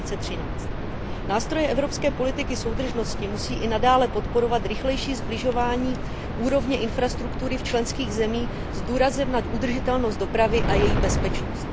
2013. Nástroje evropské politiky soudržnosti musí i nadále podporovat rychlejší sbližování úrovně infrastruktury v členských zemích s důrazem na udržitelnost dopravy a její bezpečnost.